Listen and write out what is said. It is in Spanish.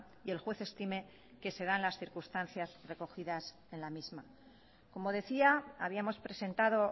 y el juez estime que se dan las circunstancias recogidas en la misma como decía habíamos presentado